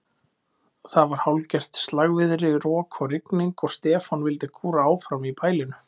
Það var hálfgert slagviðri, rok og rigning, og Stefán vildi kúra áfram í bælinu.